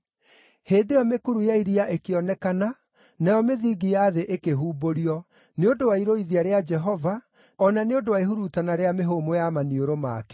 Hĩndĩ ĩyo mĩkuru ya iria ĩkĩonekana, nayo mĩthingi ya thĩ ĩkĩhumbũrio, nĩ ũndũ wa irũithia rĩa Jehova, o na nĩ ũndũ wa ihurutana rĩa mĩhũmũ ya maniũrũ make.